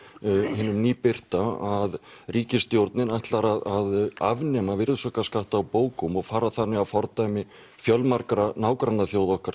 hinum að ríkisstjórnin ætlar að afnema virðisaukaskatt á bókum og fara þannig að fordæmi fjölmargra nágrannaþjóða okkar